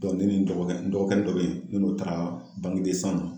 ne ni n dɔgɔkɛ n dɔgɔkɛnin dɔ be ye ne n'o taara na